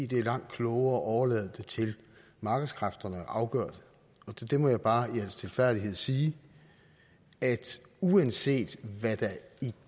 det er langt klogere at overlade det til markedskræfterne at afgøre det til det må jeg bare i al stilfærdighed sige at uanset hvad